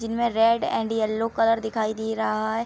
जिनमें red and yellow colour दिखाई दे रहा है।